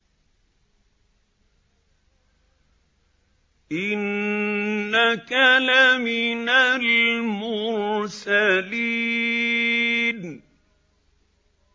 إِنَّكَ لَمِنَ الْمُرْسَلِينَ